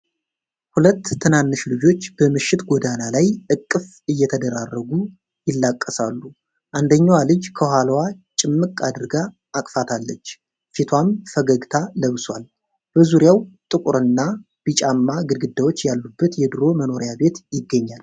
ሁለት ትናንሽ ልጆች በምሽት ጎዳና ላይ እቅፍ እየተደራረጉ ይላቀሳሉ። አንደኛዋ ልጅ ከኋላው ጭምቅ አድርጋ አቅፋታለች፤ ፊቷም ፈገግታ ለብሶዋል። በዙሪያው ጥቁርና ቢጫማ ግድግዳዎች ያሉበት የድሮ መኖሪያ ቤት ይገኛል።